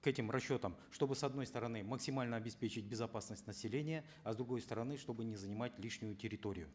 к этим расчетам чтобы с одной стороны максимально обеспечить безопасность населения а с другой стороны чтобы не занимать лишнюю территорию